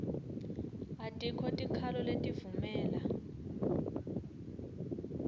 atikho tikhalo letivumela